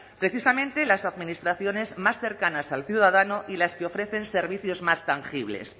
precisamente las administraciones más cercanas al ciudadano y las que ofrecen servicios más tangibles